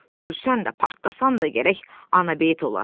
Ölsən də, partlasan da gərək anabeyt ola.